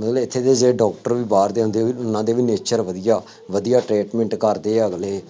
ਮਤਲਬ ਇੱਥੇ ਦੇ ਜਿਹੜੇ ਡਾਕਟਰ ਵੀ ਬਾਹਰ ਜਾਂਦੇ ਬਈ ਉਹਨਾ ਦੇ ਵੀ nature ਵਧੀਆ, ਵਧੀਆਂ treatment ਕਰਦੇ ਆ ਅਗਲੇ,